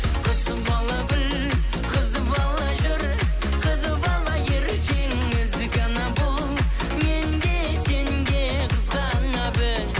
қыз бала гүл қыз бала жүр қыз бала ертең ізгі ана бұл мен де сен де қызғана біл